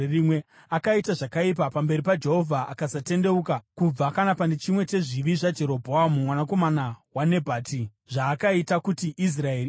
Akaita zvakaipa pamberi paJehovha akasatendeuka kubva kana pane chimwe chezvivi zvaJerobhoamu mwanakomana waNebhati, zvaakaita kuti Israeri iite.